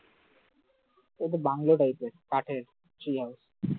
ওতো bungalow type এর কাঠের tree house